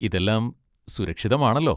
ഇതെല്ലാം സുരക്ഷിതമാണല്ലോ.